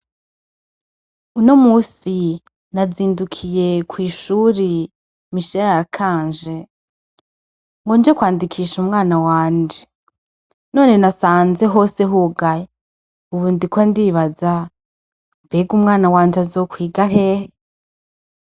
Uno musi nazindukiye kw'ishuri Misherarikanje ngo nje kwandikisha umwana wanje none nasanze hose hugaye, ubu ndiko ndibaza:"mbega umwana wanje azokwiga hehe?".